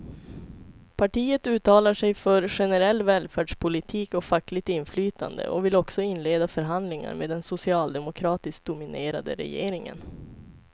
Partiet uttalar sig för generell välfärdspolitik och fackligt inflytande och vill också inleda förhandlingar med den socialdemokratiskt dominerade regeringen.